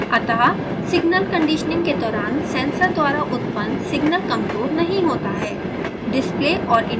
अतः signal conditioning के दौरान सेंसर द्वारा उत्पन्न सिग्नल कमज़ोर नहीं होता है